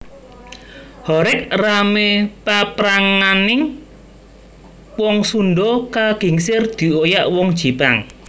Horeg ramé papranganing wong Sundha kagingsir dioyak wong Jipang